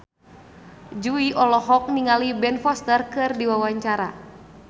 Jui olohok ningali Ben Foster keur diwawancara